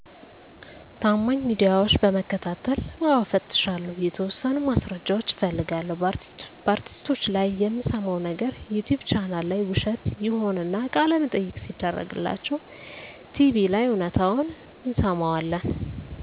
ታማኝ ሚዲያዎች በመከታተል። አዎ እፈትሻለሁ። የተወሠኑ ማስረጃዎች እፈልጋለሁ። በአርቲስቶች ላይ የምንሠማው ነገር ዩቲቭ ቻናል ላይ ውሸት ይሆንና፤ ቃለመጠየቅ ሲደረግላቸው ቲቪ ላይ እውነታውን እንሠማዋለን።